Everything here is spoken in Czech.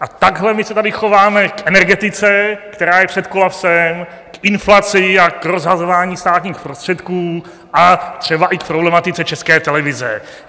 A takhle my se tady chováme k energetice, která je před kolapsem, k inflaci a k rozhazování státních prostředků a třeba i k problematice České televize.